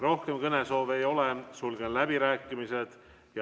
Rohkem kõnesoove ei ole, sulgen läbirääkimised.